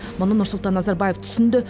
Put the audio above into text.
мұны нұрсұлтан назарбаев түсінді